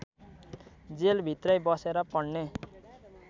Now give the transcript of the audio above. जेलभित्रै बसेर पढ्ने